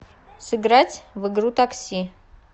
сыграть в игру такси